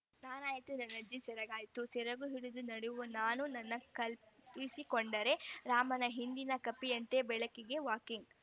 ನಾನಾಯ್ತು ನನ್ನಜ್ಜಿಯ ಸೆರಗಾಯ್ತು ಸೆರಗು ಹಿಡಿದು ನಡೆವ ನನ್ನ ನಾನೇ ಕಲ್ಪಿಸಿಕೊಂಡರೆ ರಾಮನ ಹಿಂದಿನ ಕಪಿಯಂತೆ ಬೆಳಗಿನ ವಾಕಿಂಗ್‌